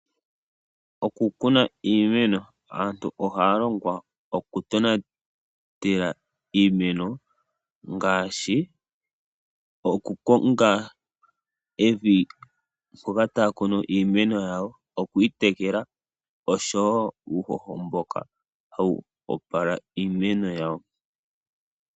Okukuna iimeno, aantu ohaa longwa oku tonatela iimeno ngaashi okukonga evi mpoka taa kunu iimeno yawo nokuyitekela oshowo uuhoho mboka hawu opala iimeno yawo.